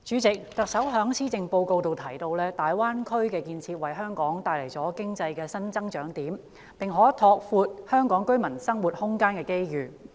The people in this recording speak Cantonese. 主席，特首在施政報告提到，"大灣區建設為香港帶來經濟新增長點，並可拓闊香港居民生活空間的機遇。